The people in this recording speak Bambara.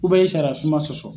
e ye sariya sunba sɔsɔ.